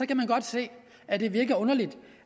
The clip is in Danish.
kan man godt se at det virker underligt